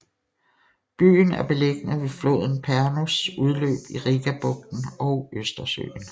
Byen er beliggende ved floden Pärnus udløb i Rigabugten og Østersøen